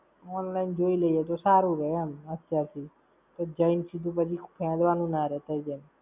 Online જોઈ લઈએ તો સારું રેય એમ, અત્યારથી. પછી જઈ ને પછી સીધું ફેંદવાનું ના રેય, થઇ જાય!